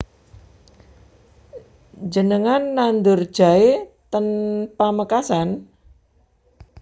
Njenengan nandur jahe ten Pamekasan?